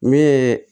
Min ye